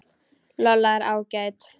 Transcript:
Lolla er ágæt.